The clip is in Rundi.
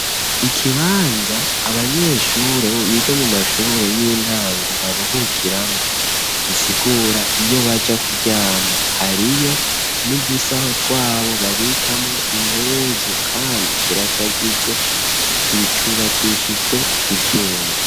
Ikibanza abanyeshure biga mu mashure y'intango baruhukiramo gisigura iyo baja kuryama hariyo n'udusaho twabo babikamo impuzu kandi kirashajije gicubakishijwe ivyuma.